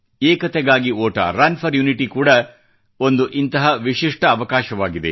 ಏಕತೆಗಾಗಿ ಓಟ run for unity ಕೂಡಾ ಒಂದು ಇಂತಹ ವಿಶಿಷ್ಠ ಅವಕಾಶವಾಗಿದೆ